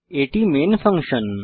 এটি main function